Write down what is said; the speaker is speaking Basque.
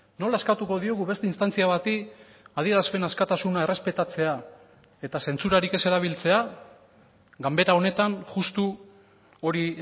nola eskatuko diogu beste instantzia bati adierazpen askatasuna errespetatzea eta zentsurarik ez erabiltzea ganbera honetan justu hori